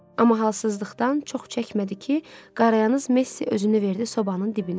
Amma halsızlıqdan çox çəkmədi ki, qarayaz Messi özünü verdi sobanın dibinə.